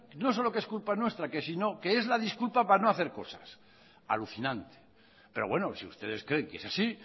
no solo que es culpa nuestra que es la disculpa para no hacer cosas alucinante pero bueno si ustedes creen que es así